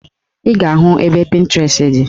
Ị ga-ahụ ebe Pịntirest dị